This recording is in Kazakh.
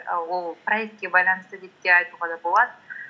і ол проектке байланысты деп те айтуға да болады